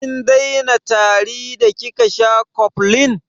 Kin daina tari da kika sha cofflin?